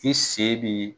I sen b'i